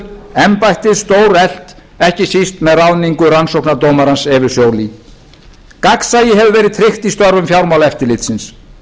embættið stóreflt ekki síst með ráðningu rannsóknardómarans evu joly gagnsæi hefur verið tryggt í störfum fjármálaeftirlitsins